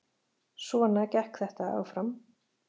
Svona gekk þetta áfram